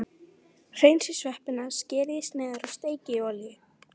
Hreinsið sveppina, skerið í sneiðar og steikið í olíu.